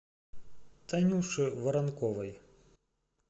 танюши воронковой